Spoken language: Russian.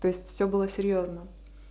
то есть все было серьёзно